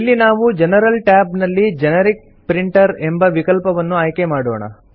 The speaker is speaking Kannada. ಇಲ್ಲಿ ನಾವು ಜನರಲ್ ಟ್ಯಾಬ್ ನಲ್ಲಿ ಜೆನೆರಿಕ್ ಪ್ರಿಂಟರ್ ಎಂಬ ವಿಕಲ್ಪವನ್ನು ಆಯ್ಕೆ ಮಾಡೋಣ